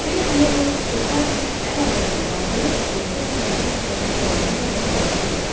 Belə deyərək Deşarni əl ağacını qaldırıb, Reto döşəmədə sərilə qalana qədər onu döydü.